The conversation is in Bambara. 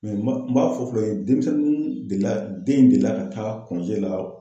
n b'a fɔ fɔlɔ yen denmisɛnnu delila den in delila ka taa la